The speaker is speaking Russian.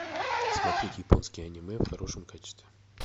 смотреть японские аниме в хорошем качестве